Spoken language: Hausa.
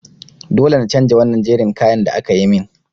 Dole na chanja wannan jerin kayan da akayi min.